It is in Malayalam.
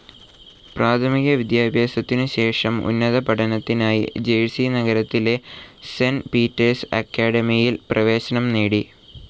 പ്രാഥമിക വിദ്യാഭ്യാസത്തിനു ശേഷം ഉന്നത പഠനത്തിനായി ജെർസി നഗരത്തിലെ സെന്റ് പീറ്റേർസ്‌ അക്കാഡമിയിൽ പ്രവേശനം നേടി.